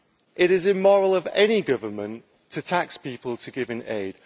It is immoral of any government to tax people to give aid.